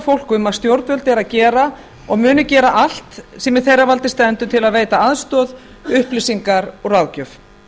fólk um að stjórnvöld eru að gera og munu gera allt sem í þeirra valdi stendur til að veita aðstoð upplýsingar og ráðgjöf